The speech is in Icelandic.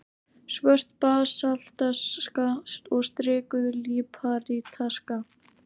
Svört basaltaska og strikuð líparítaska.